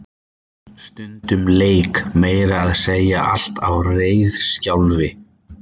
Stundum lék meira að segja allt á reiðiskjálfi.